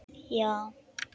Já?